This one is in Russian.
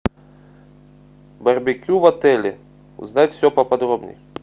барбекю в отеле узнать все поподробней